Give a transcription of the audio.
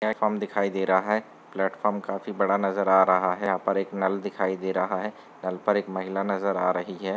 Platform दिखाई दे रहा है प्लेटफार्म काफी बड़ा नजर आ रहा है यहाँ पर एक नल दिखाई दे रहा है नल पर एक महिला नजर आ रही है।